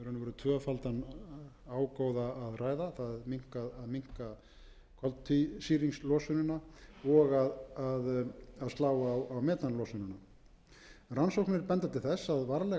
ágóða að ræða að minnka koltvísýringslosunina og að slá á metanlosunina rannsóknir benda til þess að varlega